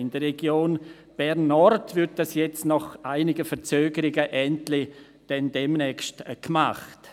In der Region Bern Nord wird dies demnächst endlich nach einigen Verzögerungen gemacht.